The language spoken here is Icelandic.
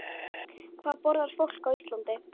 Hvað borðar fólk á Íslandi?